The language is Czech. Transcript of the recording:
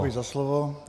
Děkuji za slovo.